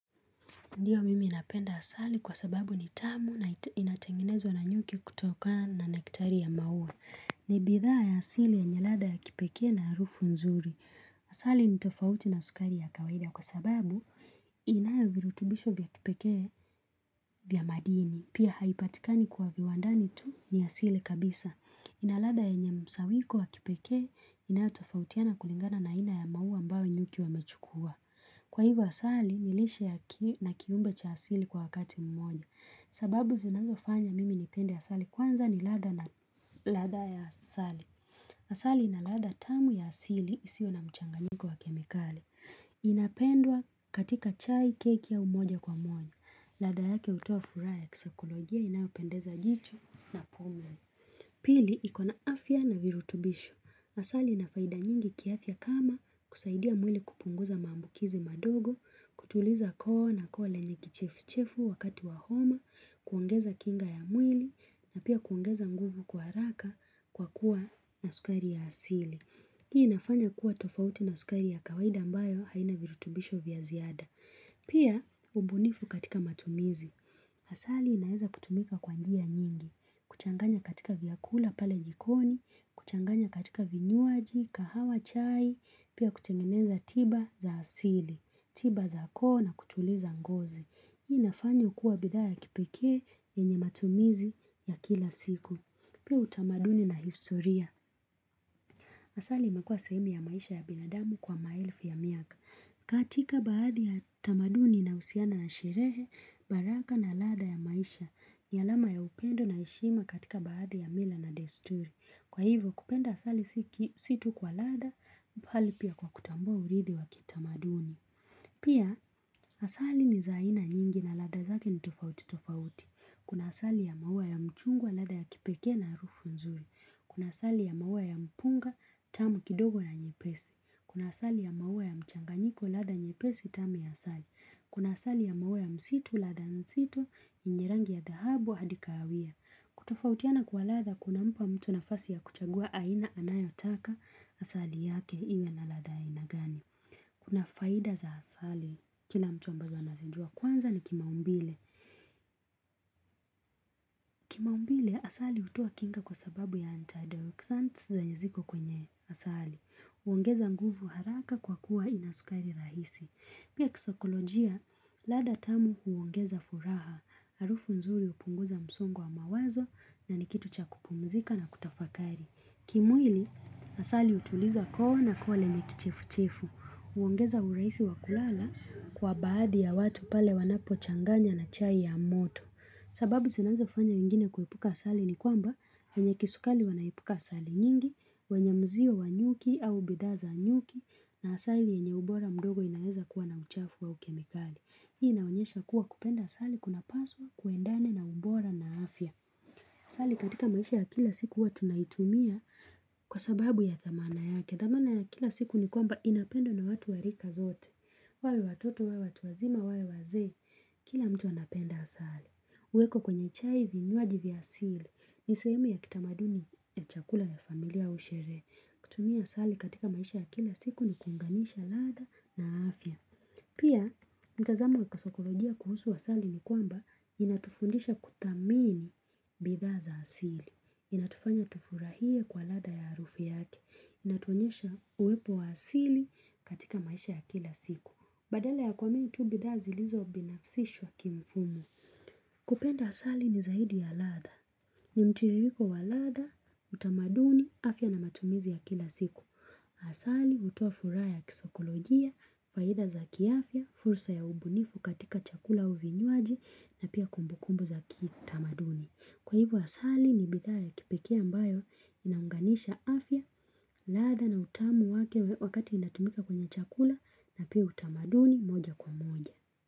Ndiyo mimi napenda asali kwa sababu ni tamu na inatengenezwa na nyuki kutoka na nektari ya maua. Ni bidhaa ya asili yenye ladha ya kipeke na harufu nzuri. Asali nitofauti na sukari ya kawaida kwa sababu inayo virutubisho vya kipeke vya madini. Pia haipatikani kwa viwandani tu ni asili kabisa. Ina ladha yenye mkusanyiko wa kipekee inayo tofautiana kulingana na ina ya mau ambayo nyuki wamechukua. Kwa hivyo asali, nilishe ya ki na kiumbe cha asili kwa wakati mmoja. Sababu zinazo fanya mimi nipende asali kwanza ni ladha na ladha ya asali. Asali ina ladha tamu ya asili isio na mchanganyiko wa kemikali. Inapendwa katika chai keki au moja kwa moja. Ladha yake utoa furaha ya kisaikolojia inayo pendeza jicho na pumzi. Pili, ikona afya na virutubisho. Asali inafaida nyingi kiafya kama kusaidia mwili kupunguza maambukizi madogo, kutuliza koo na koo lenye kichefuchefu wakati wa homa, kuongeza kinga ya mwili, na pia kuongeza nguvu kwa haraka kwa kuwa na sukari ya asili. Hii inafanya kuwa tofauti na sukari ya kawaida ambayo haina virutubisho vya ziada. Pia, ubunifu katika matumizi. Asali inaweza kutumika kwa njia nyingi, kuchanganya katika vyakula pale jikoni, kuchanganya katika vinywaji, kahawa chai, pia kutengeneza tiba za asili, tiba za koo na kutuliza ngozi. Hii inafanywa kuwa bidhaa ya kipeke yenye matumizi ya kila siku. Pia utamaduni na historia. Asali imekuwa sehemu ya maisha ya binadamu kwa maelfu ya miaka. Katika baadhi ya tamaduni ina husiana na sherehe, baraka na ladha ya maisha ni alama ya upendo na heshima katika baadhi ya mila na desturi Kwa hivyo kupenda asali si tu kwa ladha bali pia kwa kutambua uridhi wa kitamaduni Pia asali ni za aina nyingi na ladha zake ni tofauti tofauti Kuna asali ya maua ya mchungwa lada ya kipeke na harufu nzuri Kuna asali ya maua ya mpunga tamu kidogo na nyepesi Kuna asali ya maua ya mchanganyiko lada nyepesi tamu ya asali. Kuna asali ya maua ya msitu ladha nzito yenye rangi ya dhahabu hadi kaawia. Kutofautiana kwa lada kuna mpa mtu nafasi ya kuchagua aina anayo taka asali yake iwe na lada inagani. Kuna faida za asali kila mtu ambazo anazijua kwanza ni kimaumbile. Kimaumbile, asali utowa kinga kwa sababu ya antidexants zenye ziko kwenye asali. Uongeza nguvu haraka kwa kuwa inasukari rahisi. Pia kisokolojia, ladha tamu huongeza furaha, arufu nzuri upunguza msongo wa mawazo na nikitu chan kupumzika na kutafakari. Kimwili, asali utuliza koo na koo lenye kichefu-chefu. Uongeza uraisi wakulala kwa baadhi ya watu pale wanapo changanya na chai ya moto. Sababu sinazofanya wengine kuipuka asali ni kwamba wanye kisukari wana epuka asali nyingi, wenyemzio wanyuki au bidhaa za nyuki na asali yenye ubora mdogo inaweza kuwa na uchafu au ukemikali. Hii inaonyesha kuwa kupenda asali kuna paswa kuendane na ubora na afya. Asali katika maisha ya kila siku huwa tunaitumia kwa sababu ya thamani yake. Thamani ya kila siku ni kwamba inapendwa na watu warika zote. Wawe watoto, wawe watu wazima, wawe wazee, kila mtu anapenda asali. Uweko kwenye chai vinyuaji vya asili. Ni sehemu ya kitamaduni ya chakula ya familia ua sherehe. Kutumia asali katika maisha ya kila siku ni kunganisha ladha na afya. Pia, mtazamo ya kisaikolojia kuhusu asali ni kwamba inatufundisha kuthamini bidha za asili. Inatufanya tufurahie kwa ladha ya arufu yake. Inatuonyesha uwepo wa asili katika maisha ya kila siku. Badala ya kuamini tu bidhaa zilizo binafsishwa kimfumo. Kupenda asali ni zaidi ya ladhaa. Ni mtiliriko wa ladhaa, utamaduni, afya na matumizi ya kila siku. Asali utoa furaha ya kisaikolojia, faida za kiafya, fursa ya ubunifu katika chakula au vinywaji na pia kumbukumbu za kitamaduni. Kwa hivyo asali ni bidhaa ya kipekee ambayo inaunganisha afya, ladhaa na utamu wake wakati inatumika kwenye chakula na pia utamaduni moja kwa moja.